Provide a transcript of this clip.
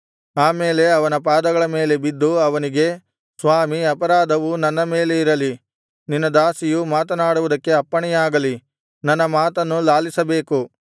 ಆ ಮೇಲೆ ಅವನ ಪಾದಗಳ ಮೇಲೆ ಬಿದ್ದು ಅವನಿಗೆ ಸ್ವಾಮೀ ಅಪರಾಧವು ನನ್ನ ಮೇಲೆ ಇರಲಿ ನಿನ್ನ ದಾಸಿಯು ಮಾತನಾಡುವುದಕ್ಕೆ ಅಪ್ಪಣೆಯಾಗಲಿ ನನ್ನ ಮಾತನ್ನು ಲಾಲಿಸಬೇಕು